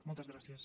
moltes gràcies